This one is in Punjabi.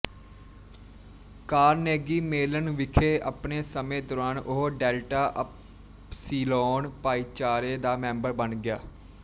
ਕਾਰਨੇਗੀ ਮੇਲਨ ਵਿਖੇ ਆਪਣੇ ਸਮੇਂ ਦੌਰਾਨ ਉਹ ਡੈਲਟਾ ਅਪਸੀਲੋਨ ਭਾਈਚਾਰੇ ਦਾ ਮੈਂਬਰ ਬਣ ਗਿਆ